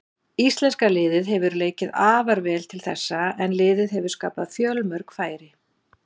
Íslenska liðið hefur leikið afar vel til þessa en liðið hefur skapað fjölmörg færi.